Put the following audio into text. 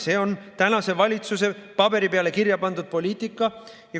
See on tänase valitsuse paberi peale kirjapandud poliitika.